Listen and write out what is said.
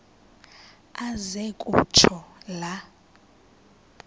aze kutsho la